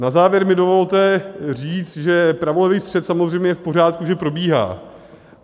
Na závěr mi dovolte říct, že pravolevý střet samozřejmě je v pořádku, že probíhá.